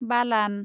बालान